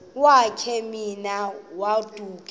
wakhe ma baoduke